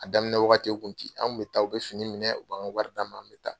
A daminɛ wagati u an kun bɛ taa u bi fini minɛ u b'an ka wari d'an ma an be taa.